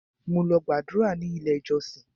Mo lọ gbàdúrà ní ilé ìjọsìn.